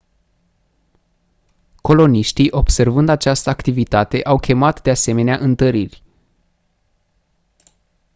coloniștii observând această activitate au chemat de asemenea întăriri